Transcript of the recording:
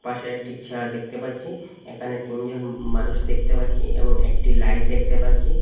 পাশে একটি চেয়ার দেখতে পাচ্ছি এখানে তিনজন মানুষ দেখতে পাচ্ছি এবং একটি লাইট দেখতে পাচ্ছি।